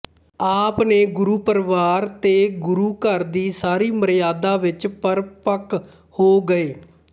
ਆਪ ਨੇ ਗੁਰੂਪਰਵਾਰ ਤੇ ਗੁਰੂਘਰ ਦੀ ਸਾਰੀ ਮਰਯਾਦਾ ਵਿੱਚ ਪਰਪੱਕ ਹੋ ਗਏ